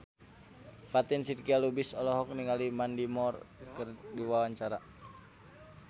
Fatin Shidqia Lubis olohok ningali Mandy Moore keur diwawancara